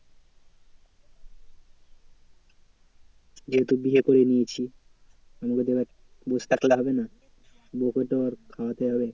যেহেতু বিয়ে করে নিয়েছি এইবার বস থাকলে তো হবে না, বৌকে তোর খাওয়াতে হবে।